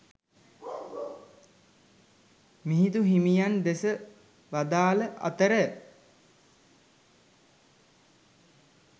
මිහිඳුහිමියන් දෙසා වදාල අතර